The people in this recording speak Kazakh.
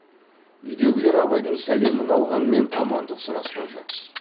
үйдегілер абайдың сәлемін алғанмен амандық сұрасқан жоқ